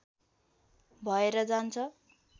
भएर जान्छ